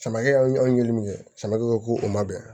Samarakɛ anw ye min kɛ samakɛw ko o ma bɛn